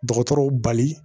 Dɔgɔtɔrɔw bali